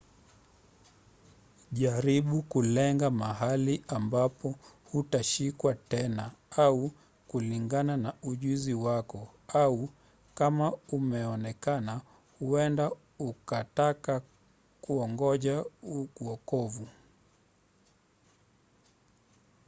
jaribu kulenga mahali ambapo hutashikwa tena au kulingana na ujuzi wako au kama umeonekana huenda ukataka kungoja uokovu